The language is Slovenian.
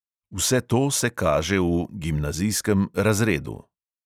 Vse to se kaže v razredu.